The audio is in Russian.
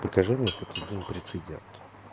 покажи мне хоть один прецедент